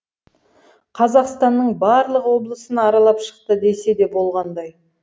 қазақстанның барлық облысын аралап шықты десе де болғандай